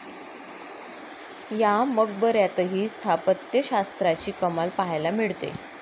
या मकबऱ्यातही स्थापत्यशास्त्राची कमाल पाहायला मिळते.